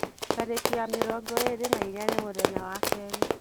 Tariki ya mĩrongo ĩĩrĩ na ĩna nĩ muthenya wa keri